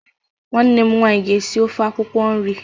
Nwanne m nwaanyị ga esi ofe akwukwo nri.